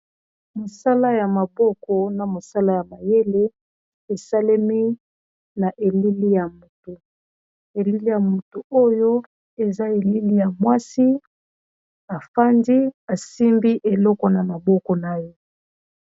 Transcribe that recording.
Mosala ya maboko na mosala ya mayele esalemi na elili ya motu elili ya motu oyo eza elili ya mwasi afandi asimbi eloko na maboko na ye.